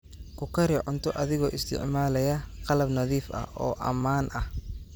Ku kari cunto adigoo isticmaalaya qalab nadiif ah oo ammaan ah.